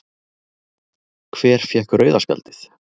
Hver fékk rauða spjaldið?